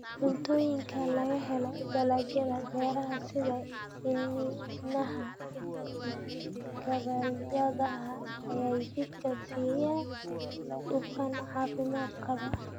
Cuntooyinka laga helo dalagyada beeraha sida iniinaha gabbaldayaha ayaa jidhka siiya dufan caafimaad qaba.